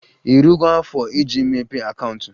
Irugo afo iji mepee akaụntụ?